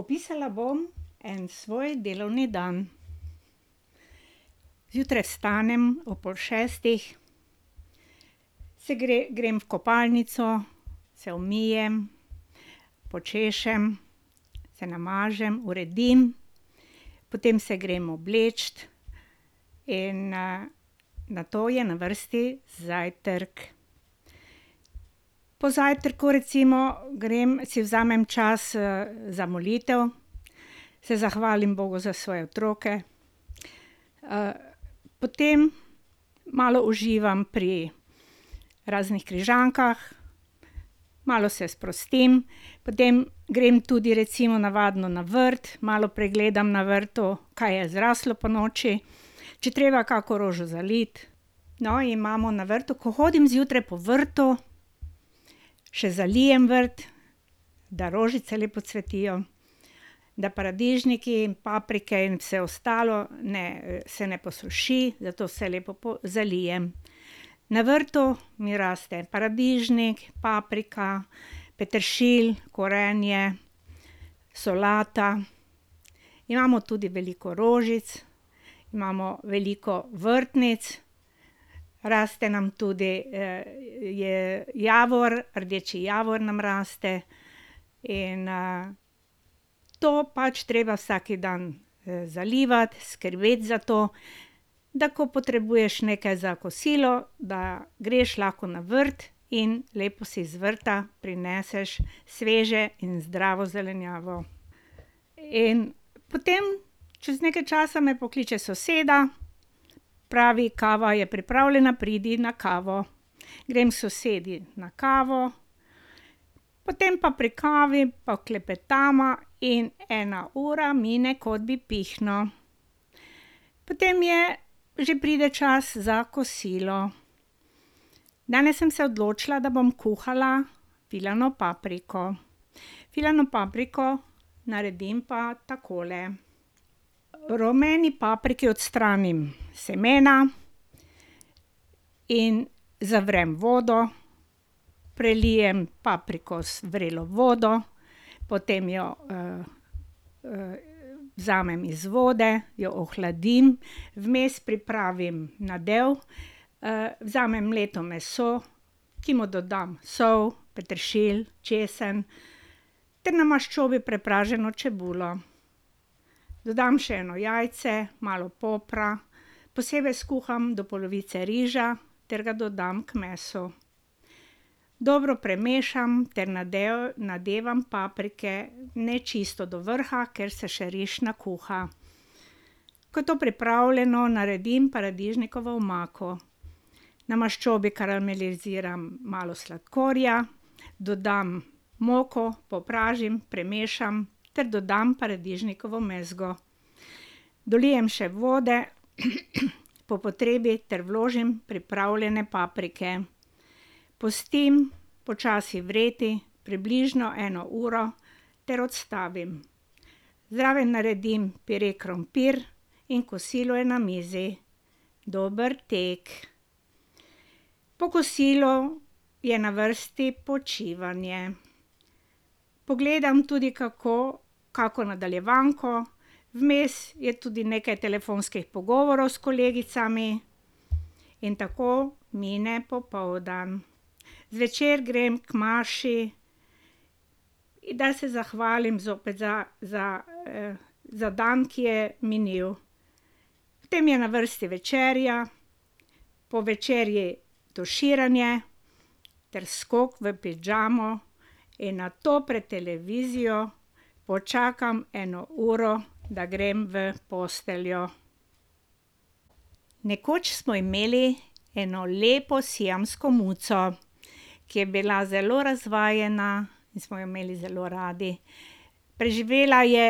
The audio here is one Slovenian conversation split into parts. Opisala bom en svoj delovni dan. Zjutraj vstanem ob pol šestih, se grem v kopalnico, se umijem, počešem, se namažem, uredim. Potem se grem obleč in, nato je na vrsti zajtrk. Po zajtrku recimo grem, si vzamem čas, za molitev. Se zahvalim bogu za svoje otroke. potem malo uživam pri raznih križankah, malo se sprostim, potem grem tudi recimo navadno na vrt, malo pregledam na vrtu, kaj je zrastlo ponoči, če je treba kako rožo zaliti. No, imamo na vrtu, ko hodim zjutraj po vrtu, še zalijem vrt, da rožice lepo cvetijo, da paradižniki, paprike in vse ostalo ne, se ne posuši, zato vse lepo zalijem. Na vrtu mi raste paradižnik, paprika, peteršilj, korenje, solata, imamo tudi veliko rožic, imamo veliko vrtnic, raste nam tudi, javor, rdeči javor nam raste in, to pač treba vsak dan, zalivati, skrbeti za to, da ko potrebuješ nekaj za kosilo, da greš lahko na vrt in lepo si z vrta prineseš sveže in zdravo zelenjavo. In potem čez nekaj časa me pokliče soseda, pravi: "Kava je pripravljena, pridi na kavo" Grem k sosedi, na kavo, potem pa pri kavi pa klepetava in ena ura mine, kot bi pihnil. Potem je, že pride čas za kosilo. Danes sem se odločila, da bom kuhala filano papriko. Filano papriko naredim pa takole. rumeni papriki odstranim semena in zavrem vodo, prelijem papriko z vrelo vodo, potem jo, vzamem iz vode, jo ohladim, vmes pripravim nadev, vzamem mleto meso, ki mu dodam sol, peteršilj, česen ter na maščobi prepraženo čebulo. Dodam še eno jajce, malo popra, posebej skuham do polovice riža ter ga dodam k mesu. Dobro premešam ter nadevam paprike, ne čisto do vrha, ker se še riž nakuha. Ko je to pripravljeno, naredim paradižnikovo omako. Na maščobi karameliziram malo sladkorja, dodam moko, popražim, premešam ter dodam paradižnikovo mezgo. Dolijem še vode po potrebi ter vložim pripravljene paprike. Pustim počasi vreti približno eno uro ter odstavim. Zraven naredim pire krompir in kosilo je na mizi. Dober tek. Po kosilu je na vrsti počivanje. Pogledam tudi kako, kako nadaljevanko, vmes je tudi nekaj telefonskih pogovorov s kolegicami in tako mine popoldan. Zvečer grem k maši, da se zahvalim zopet za za, za dan, ki je minil. Potem je na vrsti večerja, po večerji, tuširanje ter skok v pižamo in nato pred televizijo počakam eno uro, da grem v posteljo. Nekoč smo imeli eno lepo siamsko muco, ki je bila zelo razvajena in smo jo imeli zelo radi. Preživela je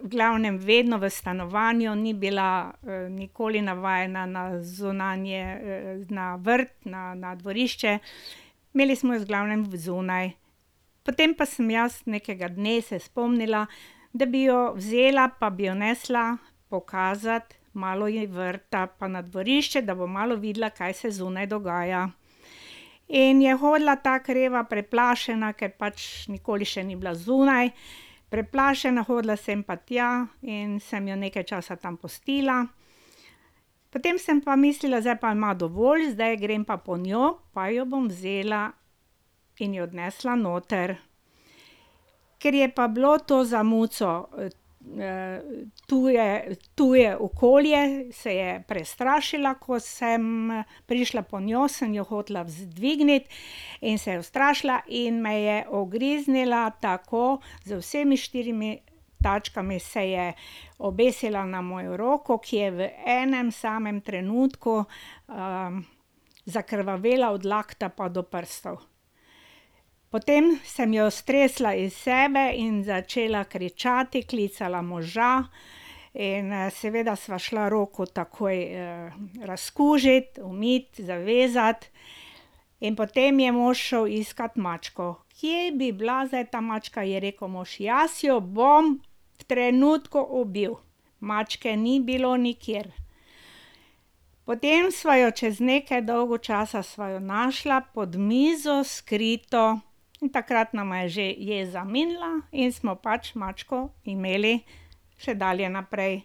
v glavnem vedno v stanovanju, ni bila, nikoli navajena na zunanje, na vrt, na dvorišče. Imeli smo jo v glavnem vzunaj. Potem pa sem jaz nekega dne se spomnila, da bi jo vzela pa bi jo nesla pokazati malo ji vrta, pa na dvorišče, da bo malo videla, kaj se zunaj dogaja. In je hodila tako reva preplašena, ker pač nikoli še ni bila zunaj, preplašena hodila sem pa tja in sem jo nekaj časa tam pustila, potem pa sem mislila, zdaj pa ima dovolj, zdaj grem pa po njo pa jo bom vzela in jo odnesla noter. Ker je pa bilo to za muco, tuje tuje, okolje se je prestrašila, ko sem prišla po njo, sem jo hotela dvigniti in se je ustrašila in me je ugriznila, tako z vsemi štirimi tačkami se je obesila na mojo roko, ki je v enem samem trenutku, zakrvavela od dlakta pa do prstov. Potem sem jo stresla iz sebe in začela kričati, klicala moža in, seveda sva šla roko takoj, razkužit, umit, zavezat in potem je mož šel iskat mačko. "Kje bi lahko bila ta mačka?" je rekel mož "Jaz jo bom v trenutku ubil." Mačke ni bilo nikjer. Potem sva jo, čez nekaj dolgo časa sva jo našla pod mizo skrito in takrat nama je že jeza minila in smo pač mačko imeli še dalje naprej.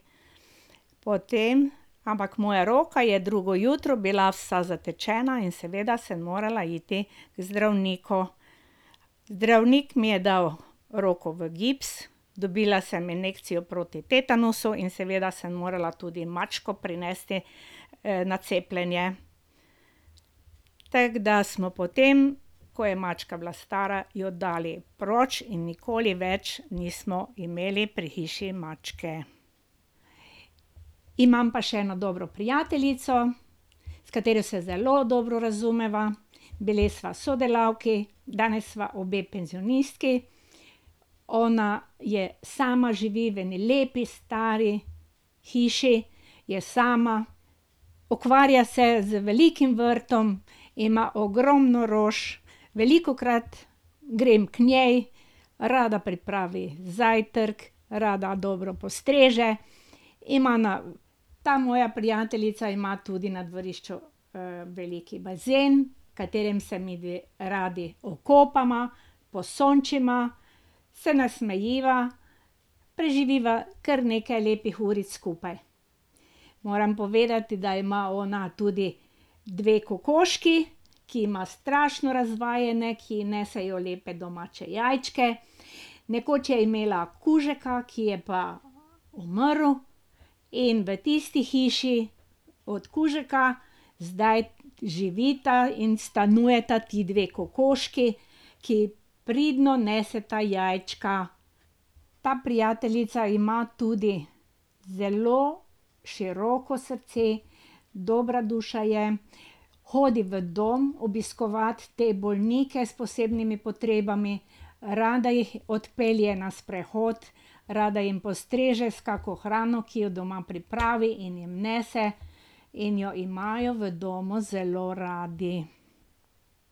Potem, ampak moja roka je drugo jutro bila vsa zatečena in seveda sem morala iti k zdravniku. Zdravnik mi je dal roko v gips, dobila sem injekcijo proti tetanusu in seveda sem morala tudi mačko prinesti, na cepljenje, tako da smo potem, ko je mačka bila stara, jo dali proč in nikoli več nismo imeli pri hiši mačke. Imam pa še eno dobro prijateljico, s katero se zelo dobro razumeva, bili sva sodelavki, danes sva obe penzionistki. Ona je sama, živi v eni lepi stari hiši, je sama, ukvarja se z velikim vrtom, ima ogromno rož, velikokrat grem k njej, rada pripravi zajtrk, rada dobro postreže. Ima na, ta moja prijateljica ima tudi na dvorišču, velik bazen, v katerem se midve radi okopava, posončiva, se nasmejiva, preživiva kar nekaj lepih uric skupaj. Moram povedati, da ima ona tudi dve kokoški, ki imata strašno razvajene, ki ji nesejo lepe domače jajčke, nekoč je imela kužka, ki je pa umrl, in v tisti hiši od kužka zdaj živita in stanujeta ti dve kokoški, ki pridno neseta jajčka. Ta prijateljica ima tudi zelo široko srce, dobra duša je, hodi v dom obiskovat te bolnike s posebnimi potrebami, rada jih odpelje na sprehod, rada jim postreže s kako hrano, ki jo doma pripravi, in jim nese in jo imajo v domu zelo radi.